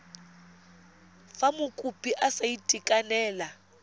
fa mokopi a sa itekanela